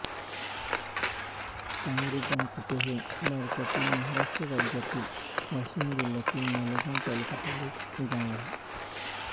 पांगरीधनकुटे हे भारतातील महाराष्ट्र राज्यातील वाशिम जिल्ह्यातील मालेगाव तालुक्यातील एक गाव आहे